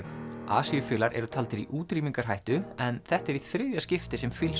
asíufílar eru taldir í útrýmingarhættu en þetta er í þriðja skiptið sem